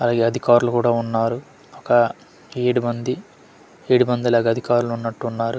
పై అధికారులు కూడా ఉన్నారు ఒక ఏడు మంది ఏడు మందిలాగా అధికారులున్నట్టు ఉన్నారు.